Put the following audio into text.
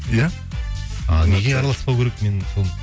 иә ы неге араласпау керек мен сол